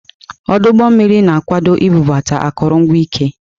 Ọdụ ụgbọ mmiri na-akwado ibubata akụrụngwa ike.